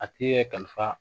A ti yɛ kalifa